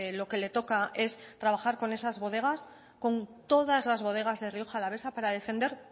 lo que le toca es trabajar con esas bodegas con todas las bodegas de rioja alavesa para defender